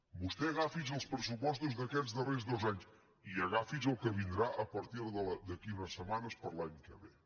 vostè agafi els pressupostos d’aquests darrers dos anys i agafi el que vindrà d’aquí a unes setmanes per a l’any que ve